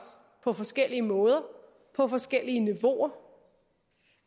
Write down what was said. på forskellige måder på forskellige niveauer og